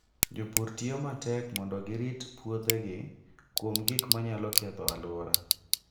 Jopur tiyo matek mondo girit puothegi kuom gik manyalo ketho alwora.